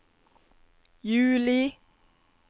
juli